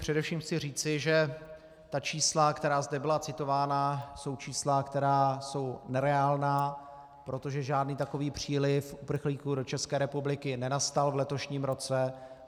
Především chci říci, že ta čísla, která zde byla citována, jsou čísla, která jsou nereálná, protože žádný takový příliv uprchlíků do České republiky nenastal v letošním roce.